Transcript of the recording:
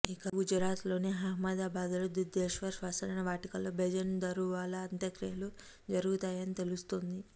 ఇక గుజరాత్లోని అహ్మదాబాద్ లో దుధేశ్వర్ స్మశానవాటికలో బెజన్ దరువాలా అంత్యక్రియలు జరుగుతాయని తెలుస్తుంది